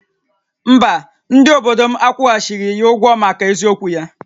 Mba, ndị obodo m akwụghachighị ya ụgwọ maka eziokwu ya